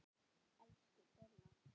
Elsku Dolla.